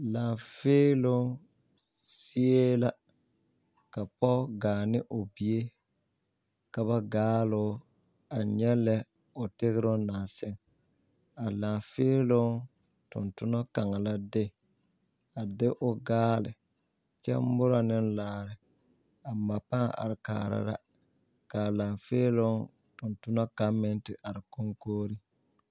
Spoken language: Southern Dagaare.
Laafeeloo zie la ka pɔge gaa ne o bie ka ba gaaloo a nyɛ lɛ o tegroŋ naŋ seŋ a laafeeloo tontonna kaŋa la de o baaleba kyɛ mɔra ne laare a ma pãã are kaara ka a laafeeloo tontona kaŋ meŋ te are koŋkogre.